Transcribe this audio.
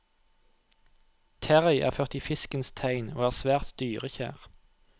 Terrie er født i fiskens tegn og er svært dyrekjær.